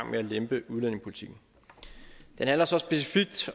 med at lempe udlændingepolitikken den handler så specifikt